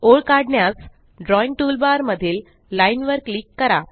ओळ काढण्यास drawing toolbar मधील लाईन वर क्लिक करा